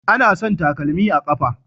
Anasan takalmi a kafa